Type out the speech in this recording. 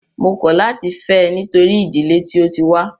Mó kọ̀ láti fẹ́ ẹ nítorí ìdílé tí o tí wá.